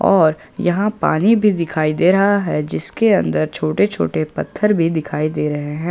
और यहां पानी भी दिखाई दे रहा है जिसके अंदर छोटे छोटे पत्थर भी दिखाई दे रहे हैं।